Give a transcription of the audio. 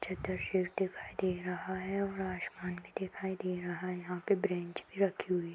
चद्दर शेड दिखाई दे रहा है और आसमान भी दिखाई दे रहा है। यहां पर ब्रेंच भी रखी हुई --